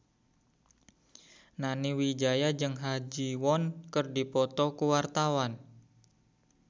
Nani Wijaya jeung Ha Ji Won keur dipoto ku wartawan